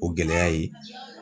O gɛlɛya ye